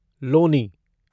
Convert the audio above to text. Loni